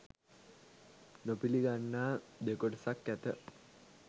නොපිළිගන්නා දෙකොටසක් ඇත.